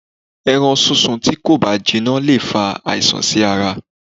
Ẹran sún sun tí kò bá jiná le fa àìsàn sí ara.